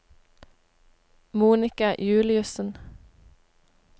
Monika Juliussen